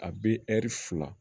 A bɛ fila